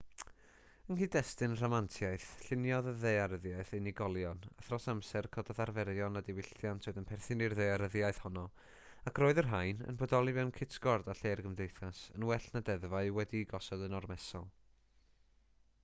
yng nghyd-destun rhamantiaeth lluniodd y ddaearyddiaeth unigolion a thros amser cododd arferion a diwylliant oedd yn perthyn i'r ddaearyddiaeth honno ac roedd y rhain yn bodoli mewn cytgord â lle'r gymdeithas yn well na ddeddfau wedi'u gosod yn ormesol